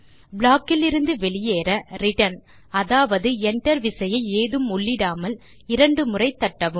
block இலிருந்து வெளியேற return அதாவது enter விசையை ஏதும் உள்ளிடாமல் இரு முறை தட்ட வேண்டும்